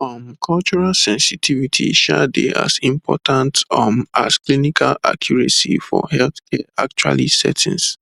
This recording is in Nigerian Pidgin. um cultural sensitivity um dey as important um as clinical accuracy for healthcare actually settings